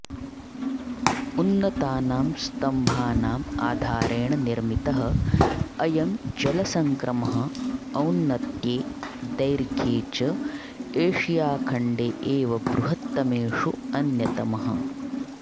उन्नतानां स्तम्भानाम् आधारेण निर्मितः अयं जलसङ्क्रमः औन्नत्ये दैर्घ्ये च एषियाखण्डे एव बृहत्तमेषु अन्यतमः